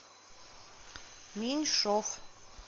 меньшов